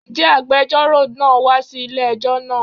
Ǹjẹ́ agbejọ́rò náà wa sí ilé ẹjọ́ náà?